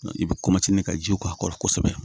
I bɛ ka jiw k'a kɔrɔ kosɛbɛ